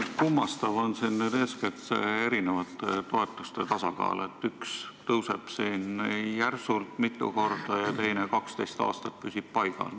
Kummastav on siin eeskätt eri toetuste tasakaal, üks tõuseb järsult, mitu korda, ja teine püsib 12 aastat paigal.